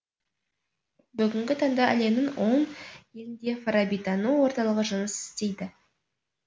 бүгінгі таңда әлемнің он елінде фарабитану орталығы жұмыс істейді